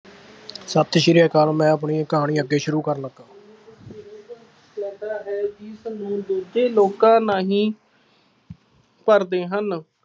ਸਤਿ ਸ਼੍ਰੀ ਅਕਾਲ, ਮੈਂ ਆਪਣੀ ਕਹਾਣੀ ਅੱਗੇ ਸ਼ੁਰੂ ਕਰਨ ਲੱਗਾ, ਹੈ ਜਿਸਨੂੰ ਦੂਜੇ ਲੋਕਾਂ ਰਾਹੀ ਭਰਦੇ ਹਨ